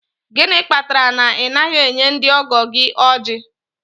Gịnị kpatara na ị naghị enye ndị ọgọ gị ojí?.